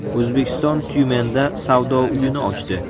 O‘zbekiston Tyumenda savdo uyini ochdi.